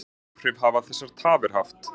Hvaða áhrif hafa þessar tafir haft?